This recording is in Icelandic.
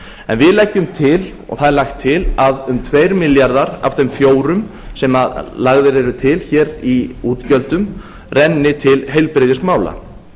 en við leggjum til og það er lagt til að um tveir milljarðar af þeim fjórum sem lagðir eru til hér í útgjöldum renni til heilbrigðismála